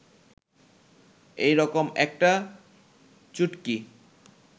এই রকম একটা চুটকি